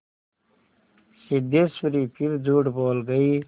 सिद्धेश्वरी फिर झूठ बोल गई